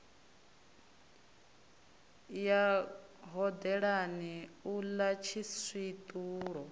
ya hodelani u ḽa tshiswiṱulo